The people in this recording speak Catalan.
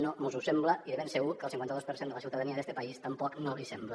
no mos ho sembla i de ben segur que al cinquanta dos per cent de la ciutadania d’este país tampoc no l’hi sembla